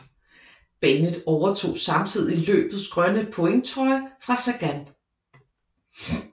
Bennett overtog samtidig løbets grønne pointtrøje fra Sagan